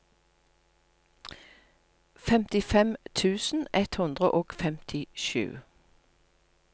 femtifem tusen ett hundre og femtisju